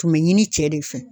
Tun be ɲini cɛ de fɛ.